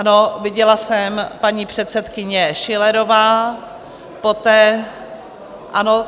Ano, viděla jsem, paní předsedkyně Schillerová, poté, ano...